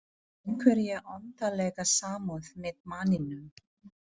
Hefur einhverja undarlega samúð með manninum.